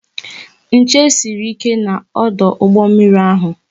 Nche sịrị ike na ọdụ ụgbọ mmiri ahụ